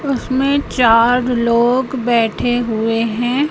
उसमें चार लोग बैठे हुए हैं।